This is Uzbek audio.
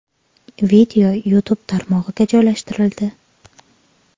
Video YouTube tarmog‘iga joylashtirildi.